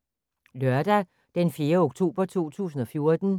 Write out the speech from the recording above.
Lørdag d. 4. oktober 2014